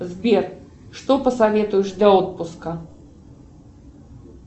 сбер что посоветуешь для отпуска